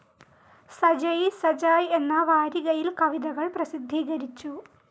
സജയിസജായ് എന്ന വാരികയിൽ കവിതകൾ പ്രസിദ്ധീകരിച്ചു.